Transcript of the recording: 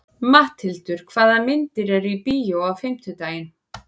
Matthildur, hvaða myndir eru í bíó á fimmtudaginn?